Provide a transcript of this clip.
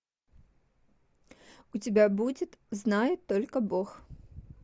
у тебя будет знает только бог